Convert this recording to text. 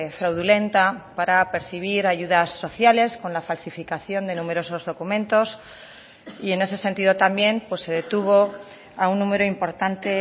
fraudulenta para percibir ayudas sociales con la falsificación de numerosos documentos y en ese sentido también se detuvo a un número importante